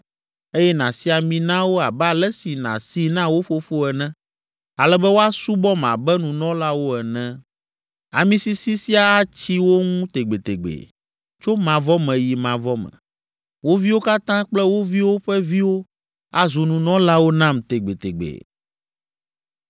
eye nàsi ami na wo abe ale si nàsii na wo fofo ene, ale be woasubɔm abe nunɔlawo ene. Ami sisi sia atsi wo ŋu tegbetegbe, tso mavɔ me yi mavɔ me: wo viwo katã kple wo viwo ƒe viwo azu nunɔlawo nam tegbetegbe.”